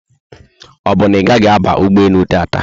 Obu na igahi aba ụgbọelu tata?